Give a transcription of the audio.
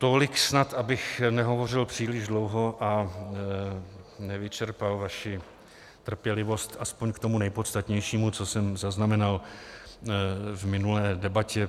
Tolik snad, abych nehovořil příliš dlouho a nevyčerpal vaši trpělivost, aspoň k tomu nejpodstatnějšímu, co jsem zaznamenal v minulé debatě.